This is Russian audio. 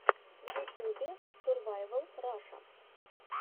в ютюбе сурвайвал раша